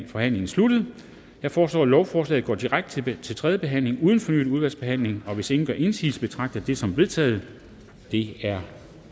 forhandlingen sluttet jeg foreslår at lovforslaget går direkte til tredje behandling uden fornyet udvalgsbehandling hvis ingen gør indsigelse betragter jeg det som vedtaget det er